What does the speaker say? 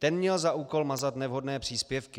Ten měl za úkol mazat nevhodné příspěvky.